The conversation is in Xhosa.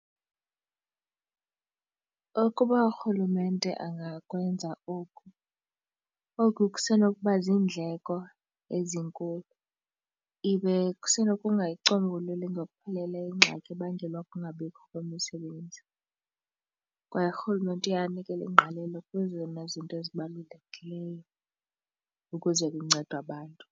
Ukuba urhulumente angakwenza oku, oku kusenokuba ziindleko ezinkulu ibe kusenokungayicombululi ngokupheleleyo ingxaki ebangelwa kukungabikho kwemisebenzi, kwaye urhulumente uye anikele ingqalelo kwezona zinto ezibalulekileyo ukuze kuncedwe abantu.